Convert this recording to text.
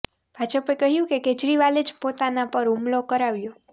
ભાજપે કહ્યું કે કેજરીવાલે જ પોતાના પર હુમલો કરાવ્યો